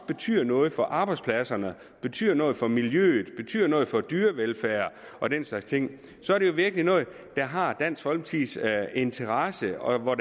betyder noget for arbejdspladserne betyder noget for miljøet betyder noget for dyrevelfærd og den slags ting så er det virkelig noget der har dansk folkepartis interesse og